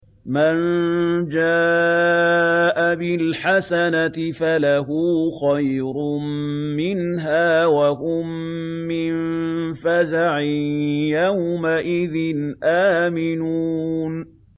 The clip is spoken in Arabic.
مَن جَاءَ بِالْحَسَنَةِ فَلَهُ خَيْرٌ مِّنْهَا وَهُم مِّن فَزَعٍ يَوْمَئِذٍ آمِنُونَ